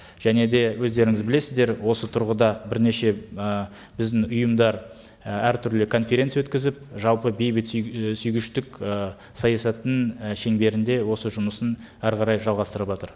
және де өздеріңіз білесіздер осы тұрғыда бірнеше і біздің ұйымдар і әртүрлі конференция өткізіп жалпы бейбіт і сүйгіштік і саясаттың і шеңберінде осы жұмысын әрі қарай жалғастырыватыр